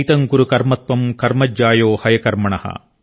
నియతం కురు కర్మ త్వం కర్మ జ్యాయో హయకర్మణ